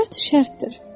Şərt şərtdir.